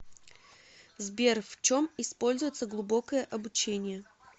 сбер в чем используется глубокое обучение